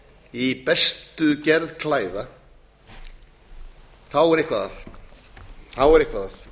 í bestu gerð klæða þá er eitthvað